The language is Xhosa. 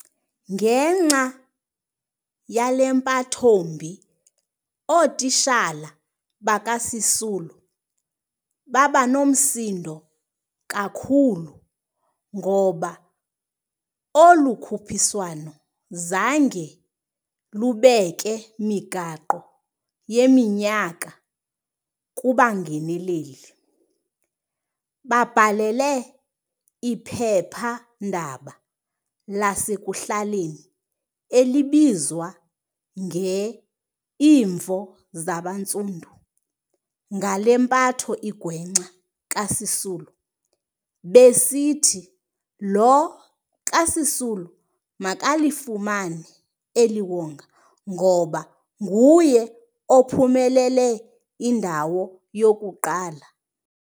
Ngenxa yale mpathombi, ootitshala bakaSisulu babanomsindo kakhulu, ngoba olu khuphiswano zange lubeke migaqo yeminyaka kubangeneleli. Babhalela iphepha-ndaba lasekuhlaleni elibizwa nge-Imvo Zabantsundu ngale mpatho igwenxa kaSisulu, besithi lo kaSisulu makalifumane eliwonga ngoba nguye ophumelele indawo yokuqala.